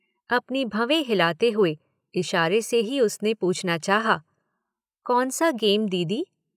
अपनी भवें हिलाते हुए इशारे से ही उसने पूछना चाहा कौन सा गेम दीदी